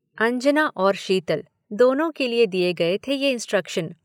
अंजना और शीतल, दोनों के लिए दिए गए थे ये इन्सट्रक्शन।